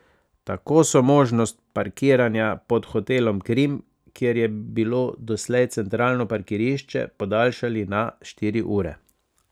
Tako so možnost parkiranja pod hotelom Krim, kjer je bilo doslej centralno parkirišče, podaljšali na štiri ure.